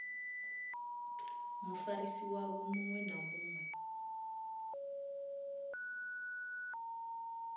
mufarisi wavho muṅwe na muṅwe